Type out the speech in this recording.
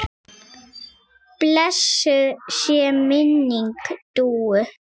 Blessuð sé minning Dúu.